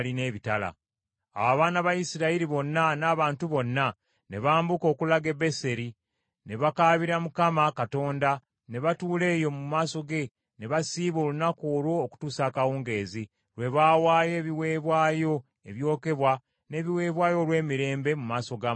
Awo abaana ba Isirayiri bonna n’abantu bonna, ne bambuka okulaga e Beseri, ne bakaabira Mukama Katonda ne batuula eyo mu maaso ge ne basiiba olunaku olwo okutuusa akawungeezi, lwe baawaayo ebiweebwayo ebyokebwa n’ebiweebwayo olw’emirembe mu maaso ga Mukama .